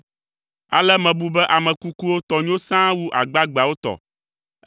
Ale mebu be ame kukuwo tɔ nyo sãa wu agbagbeawo tɔ